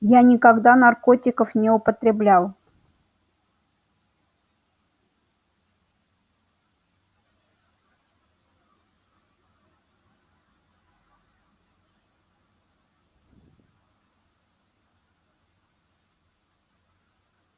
я никогда наркотиков не употреблял